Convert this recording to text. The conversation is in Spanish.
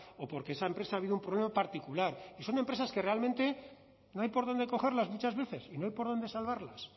o porque esa empresa ha habido un problema particular y son empresas que realmente no hay por dónde cogerlas muchas veces y no hay por dónde salvarlas